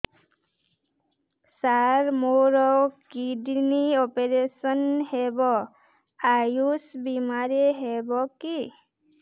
ସାର ମୋର kidney operation ହେବ ଆୟୁଷ ବିମାରେ ହେବ କି